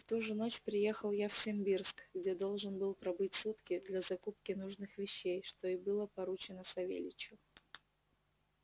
в ту же ночь приехал я в симбирск где должен был пробыть сутки для закупки нужных вещей что и было поручено савельичу